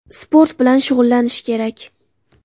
Sport bilan shug‘ullanish kerak.